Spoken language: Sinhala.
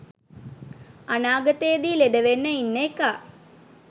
අනාගතෙදි ලෙඩවෙන්න ඉන්න එකා